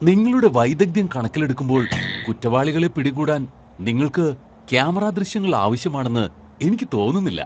നിങ്ങളുടെ വൈദഗ്ദ്ധ്യം കണക്കിലെടുക്കുമ്പോൾ, കുറ്റവാളികളെ പിടികൂടാൻ നിങ്ങൾക്ക് ക്യാമറ ദൃശ്യങ്ങൾ ആവശ്യമാണെന്ന് എനിക്ക് തോന്നുന്നില്ല.